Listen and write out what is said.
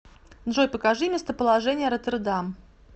джой покажи местоположение роттердам